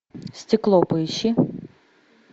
стекло поищи